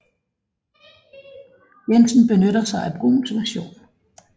Jensen benytter sig af Bruhns version